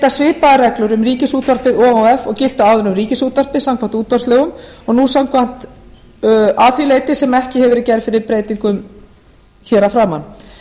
svipaðar reglur um ríkisútvarpið o h f og giltu áður um ríkisútvarpið samkvæmt útvarpslögum að því leyti sem ekki hefur verið gerð fyrir breytingum hér að framan